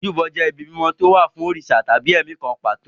Ojúbọ jẹ́ ibi mímọ́ tí ó wà fún òrìṣà tàbí ẹ̀mí kan pàtó.